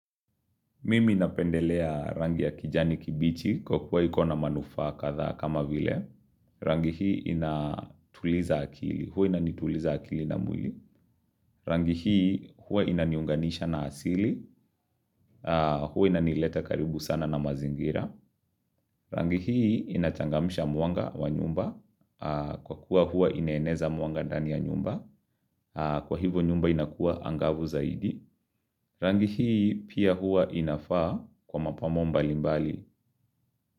Mimi inapendelea rangi ya kijani kibichi kwa kuwa ikona manufaa kadhaa kama vile, rangi hii inatuliza akili, huwa inanituliza akili na mwili, rangi hii huwa inaniunganisha na asili, huwa inanileta karibu sana na mazingira, rangi hii inachangamisha mwanga wa nyumba, kwa kuwa huwa inaneza mwanga ndani ya nyumba, kwa hivo nyumba inakuwa angavu zaidi, rangi hii pia huwa inafaa kwa mapambo mbali mbali.